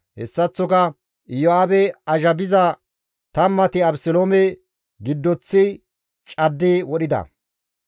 Hessaththoka Iyo7aabe azhabiza tammati, Abeseloome giddoththi caddi wodhida.